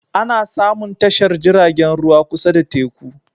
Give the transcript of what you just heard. Ana samun tashar jiragen ruwa kusa da teku